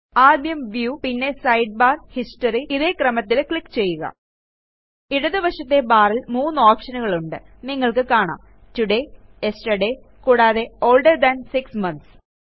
ആദ്യം വ്യൂ പിന്നെ sidebar history ഇതേ ക്രമത്തിൽ ക്ലിക്ക് ചെയ്യുക ഇടതുവശത്തെ barൽ 3 ഓപ്ഷനുകളുണ്ട് നിങ്ങൾക്ക് കാണാം ടോഡേ യെസ്റ്റർഡേ കൂടാതെ ഓൾഡർ താൻ 6 മോന്ത്സ്